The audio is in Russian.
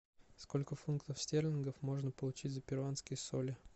сколько фунтов стерлингов можно получить за перуанские соли